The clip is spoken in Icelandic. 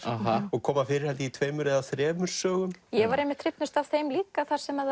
og koma fyrir í tveimur eða þremur sögum ég var einmitt hrifnust af þeim líka þar sem